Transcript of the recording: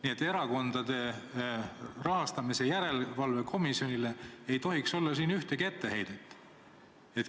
Nii et Erakondade Rahastamise Järelevalve Komisjonile ei tohiks siin ühtegi etteheidet olla.